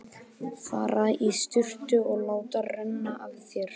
Fara í sturtu og láta renna af þér.